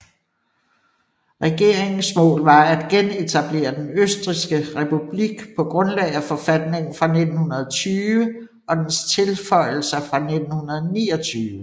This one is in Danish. Regeringens mål var at genetablere den østrigske republik på grundlag af forfatningen fra 1920 og dens tilføjelser fra 1929